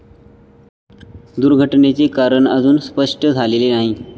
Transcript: दुर्घटनेचे कारण अजून स्पष्ट झालेले नाही.